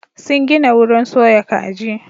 Sun gina wurin soya kaji.